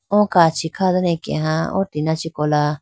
o kachi kha dane akeha o tina chee kola.